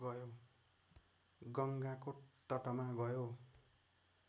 गङ्गाको तटमा गयो